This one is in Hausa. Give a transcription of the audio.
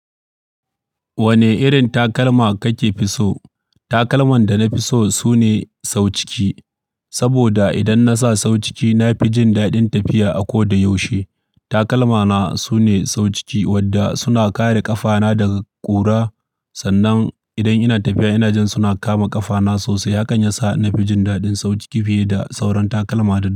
Wane irin takalma kake fi so? Takalman da na fi so sune sau ciki, saboda idan nasa sau ciki na fi jin daɗin tafiya a ko da yaushe. Takalmana sune sau ciki wadda suna kare ƙafana daga ƙura. Sannan idan ina tafiya ina jin suna kama ƙafana sosai, hakan yasa na fi jin daɗin sau ciki fiye da sauran takalma da.